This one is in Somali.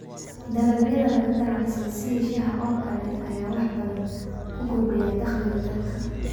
Dalagyada laga ganacsado sida shaaha oo kale ayaa wax badan ku kordhiya dakhliga dalka.